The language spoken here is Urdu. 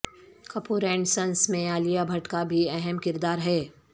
کپور اینڈ سنز میں عالیہ بھٹ کا بھی اہم کردار ہے